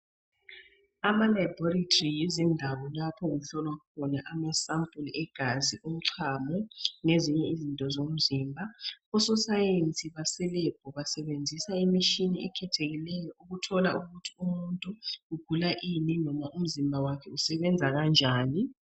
Ama labhorithri yikho lapho okuhlolwa khona ama sampuli egazi, umchamo lezinye izitho zomzimb. Ososayensi base lebhu basebenzisa imishini ekhethekileyo ukuthola ukuthi umuntu ugula ini noma umzimba wakhe usebenza kanjani.